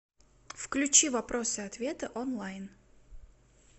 включи вопросы и ответы онлайн